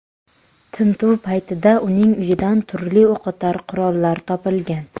Tintuv paytida uning uyidan turli o‘qotar qurollar topilgan.